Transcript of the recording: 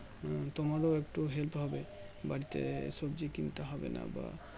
তোমার একটু Help হবে বাড়িতে সবজি কিনতে হবে না বা